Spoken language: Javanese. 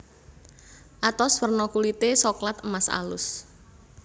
Atos werna kulite soklat emas alus